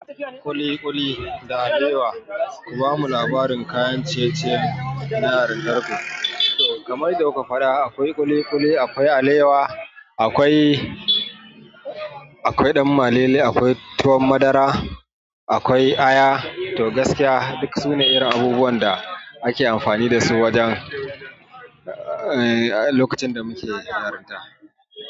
Kuli kuli da alewa. Ku bamu labarin kayan ciye-ciye na yaran gargajiya. To, kamar dai muka faɗa akwai kuli kuli, akwai alewa, akwai, akwai ɗan malelle, akwai tuwon madara, akwai aya. To gaskiya duk sune irin abubuwan da ake amfani dasu wajen lokacin da muke yarinta.